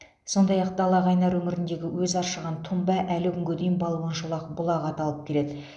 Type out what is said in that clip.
сондай ақ далақайнар өңіріндегі өзі аршыған тұнба әлі күнге дейін балуан шолақ бұлағы аталып келеді